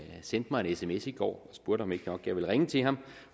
sendte mig en sms i går og spurgte om ikke nok jeg ville ringe til ham